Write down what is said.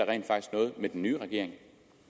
noget med den nye regering